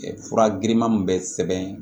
Fura girinman min bɛ sɛbɛn